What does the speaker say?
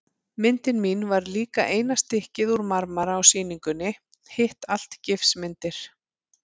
Myndin mín var líka eina stykkið úr marmara á sýningunni, hitt allt gifsmyndir.